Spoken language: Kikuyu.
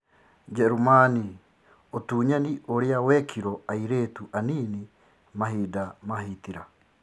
Njerumani: ũtunyani ũrĩa wekirwo airĩtu anini mahinda ma Hitler